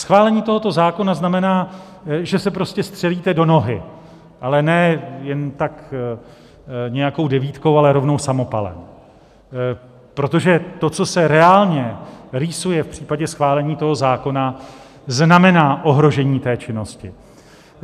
Schválení tohoto zákona znamená, že se prostě střelíte do nohy, ale ne jen tak nějakou devítkou, ale rovnou samopalem, protože to, co se reálně rýsuje v případě schválení toho zákona, znamená ohrožení té činnosti.